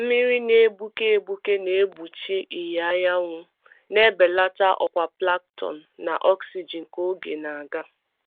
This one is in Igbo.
Mmiri na-egbuke egbuke na-egbochi ìhè anyanwụ, na-ebelata ọkwa plankton na oxygen ka oge na-aga.